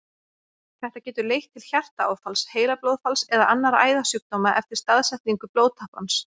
Þetta getur leitt til hjartaáfalls, heilablóðfalls eða annarra æðasjúkdóma eftir staðsetningu blóðtappans.